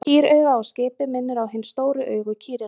Kýrauga á skipi minnir á hin stóru augu kýrinnar.